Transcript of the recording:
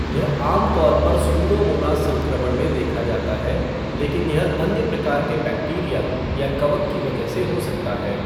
यह आमतौर पर स्यूडोमोनास संक्रमण में देखा जाता है लेकिन यह अन्य प्रकार के बैक्टीरिया या कवक की वजह से हो सकता है।